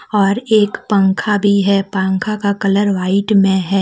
और एक पंखा भी है पंखा का कलर वाइट में है।